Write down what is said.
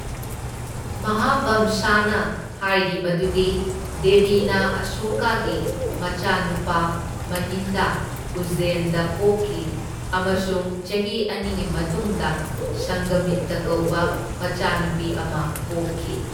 ꯃꯍꯥꯕꯝꯁꯥꯅ ꯍꯥꯏꯔꯤ ꯃꯗꯨꯗꯤ ꯗꯦꯕꯤꯅ ꯑꯁꯣꯀꯥꯒꯤ ꯃꯆꯥꯅꯨꯄꯥ ꯃꯍꯤꯟꯗꯥ ꯎꯖꯖꯦꯟꯗ ꯄꯣꯛꯈꯤ, ꯑꯃꯁꯨꯡ ꯆꯍꯤ ꯑꯅꯤꯒꯤ ꯃꯇꯨꯡꯗ ꯁꯪꯘꯥꯃꯤꯠꯇꯥ ꯀꯧꯕ ꯃꯆꯥꯅꯨꯄꯤ ꯑꯃ ꯄꯣꯛꯈꯤ।